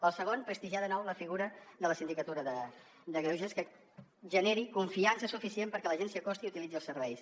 el segon prestigiar de nou la figura de la sindicatura de greuges que generi confiança suficient perquè la gent s’hi acosti i utilitzi els serveis